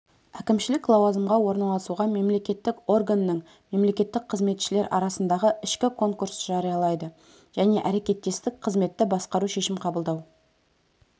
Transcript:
әкімшілік лауазымға орналасуға мемлекеттік органның мемлекеттік қызметшілер арасындағы ішкі конкурс жариялайды және әрекеттестік қызметті басқару шешім қабылдау